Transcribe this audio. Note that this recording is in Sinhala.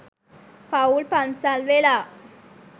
පවුල් පන්සල් වෙලා